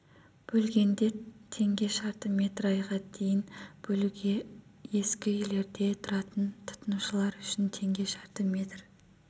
бөлгенде теңге шаршы метр айға дейін бөлуге ескі үйлерде тұратын тұтынушылар үшін теңге шаршы метр